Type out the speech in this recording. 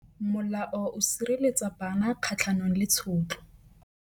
Molao o sireletsa bana kgatlhanong le tshotlo.